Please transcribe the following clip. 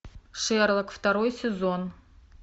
шерлок второй сезон